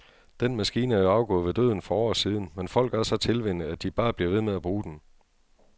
Den maskine er jo afgået ved døden for år siden, men folk er så tilvænnet, at de bare bliver ved med at bruge den.